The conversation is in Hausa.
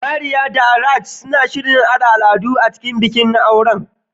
Maria da Raj suna shirin haɗa al'adu daban-daban a cikin bikin auren